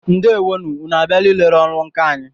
Ndewo nụ! Ụnụ a bịala ị lere ọrụ nkà anyị?